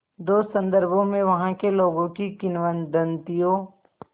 दो संदर्भों में वहाँ के लोगों की किंवदंतियों